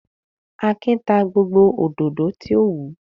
Akin ta gbogbo òdòdó tí ó wù.